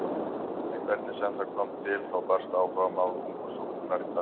En hvernig sem það kom til þá barst áhugamál ungu stúlkunnar í tal.